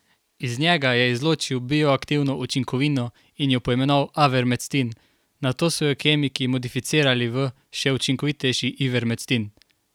Iz njega je izločil bioaktivno učinkovino in jo poimenoval avermectin, nato so jo kemiki modificirali v še učinkovitejši ivermectin.